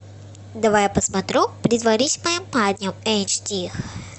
давай я посмотрю притворись моим парнем эйч ди